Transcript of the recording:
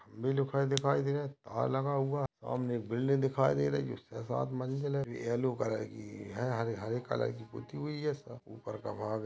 मेलो का दिखाई दे रहा है तार लगा हुआ सामने एक बिल्डिंग दिखाई दे रही है छह साथ मंजिल है येलो कलर की है हरे हरे कलर की पुती हुई हैं। ऊपर का भाग--